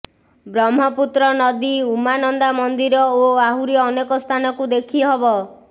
ବ୍ରହ୍ମପୁତ୍ର ନଦୀ ଉମାନନ୍ଦା ମନ୍ଦିର ଓ ଆହୁରି ଅନେକ ସ୍ଥାନକୁ ଦେଖିହେବ